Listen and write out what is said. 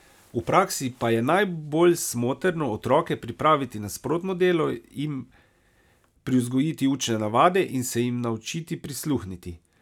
V praksi pa je najbolj smotrno otroke pripraviti na sprotno delo, jim privzgojiti učne navade in se jim naučiti prisluhniti.